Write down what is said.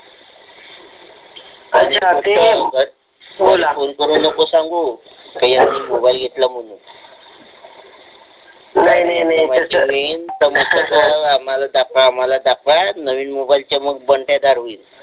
phone करू नको सांगू की यांनी मोबाइल घेतला म्हणून आम्हाला दाखवा आम्हाला दाखवा नवीन मोबाइल चे मग